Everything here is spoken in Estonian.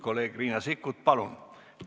Kolleeg Riina Sikkut, palun!